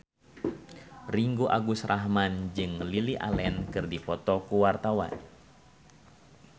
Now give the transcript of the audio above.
Ringgo Agus Rahman jeung Lily Allen keur dipoto ku wartawan